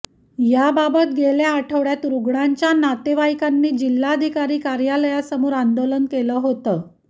याबाबत गेल्या आठवड्यात रुग्णांच्या नातेवाईकांनी जिल्हाधिकारी कार्यालयासमोर आंदोलन केलं होतं